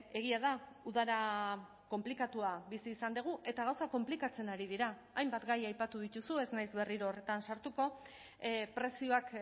egia da udara konplikatua bizi izan dugu eta gauzak konplikatzen ari dira hainbat gai aipatu dituzu ez naiz berriro horretan sartuko prezioak